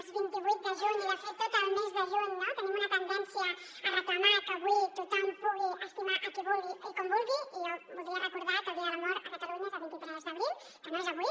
els vint vuit de juny i de fet tot el mes de juny no tenim una tendència a reclamar que avui tothom pugui estimar qui vulgui i com vulgui i jo voldria recordar que el dia de l’amor a catalunya és el vint tres d’abril que no és avui